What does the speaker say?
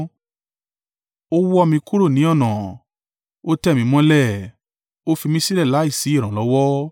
Ó wọ́ mi kúrò ní ọ̀nà, ó tẹ̀ mí mọ́lẹ̀ ó fi mi sílẹ̀ láìsí ìrànlọ́wọ́.